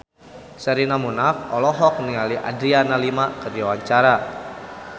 Sherina Munaf olohok ningali Adriana Lima keur diwawancara